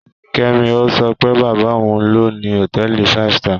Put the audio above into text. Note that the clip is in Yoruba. Kẹ́mi sọ pé bàbá òun ló ni hòtẹ́ẹ̀lì five star